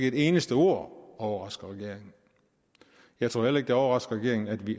et eneste ord overrasker regeringen jeg tror heller ikke det overrasker regeringen at vi